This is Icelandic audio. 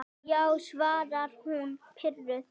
Já, svaraði hún pirruð.